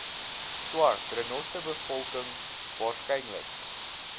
swart renosterbevolking waarskynlik